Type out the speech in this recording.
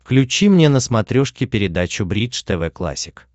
включи мне на смотрешке передачу бридж тв классик